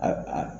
A